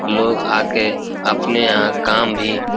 लोग आके अपने यहाँ काम भी --